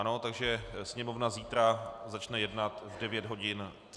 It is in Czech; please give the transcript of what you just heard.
Ano, takže Sněmovna zítra začne jednat v 9 hodin 35 minut.